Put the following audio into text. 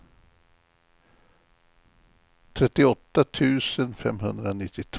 trettioåtta tusen femhundranittiotvå